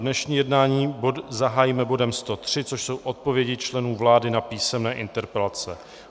Dnešní jednání zahájíme bodem 103, což jsou odpovědi členů vlády na písemné interpelace.